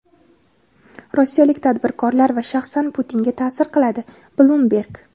rossiyalik tadbirkorlar va shaxsan Putinga ta’sir qiladi - Bloomberg.